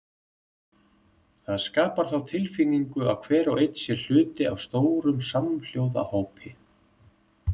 Það skapar þá tilfinningu að hver og einn sé hluti af stórum samhljóða hópi.